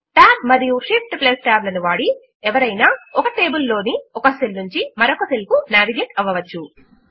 Tab మరియు ShiftTab లను వాడి ఎవరైనా ఒక టేబుల్ లోని ఒక సెల్ నుంచి మరొక సెల్ కు నావిగేట్ అవ్వవచ్చు